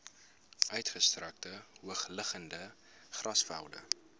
uitgestrekte hoogliggende grasvelde